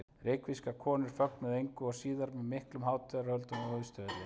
Reykvískar konur fögnuðu engu að síður með miklum hátíðahöldum á Austurvelli.